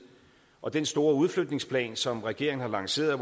og den store udflytningsplan som regeringen har lanceret